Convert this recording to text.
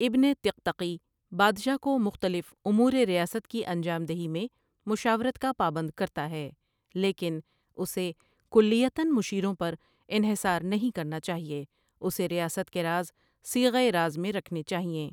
ابن طقطقی بادشاہ کو مختلف امورِ ریاست کی انجام دہی میں مشاورت کا پابند کرتا ہے لیکن اسے کلیۃً مشیروں پر انحصار نہیں کرنا چاہیے اسے ریاست کے راز صیغۂ راز میں رکھنے چاہیئں۔